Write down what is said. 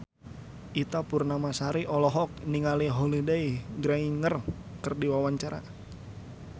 Ita Purnamasari olohok ningali Holliday Grainger keur diwawancara